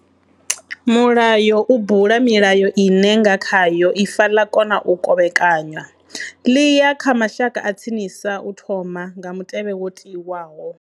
Mulayo u bula milayo ine nga khayo ifa ḽa kona u kovhekanywa. Ḽi ya kha mashaka a tsinisa u thoma, nga mutevhe wo tiwaho.